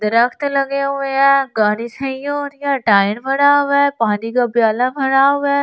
दरख़्त लगे हुए हैं गाड़ी सही हो रही है टायर पड़ा हुआ है पानी का प्याला पड़ा हुआ है।